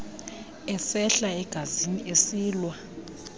esehla egazini esilwa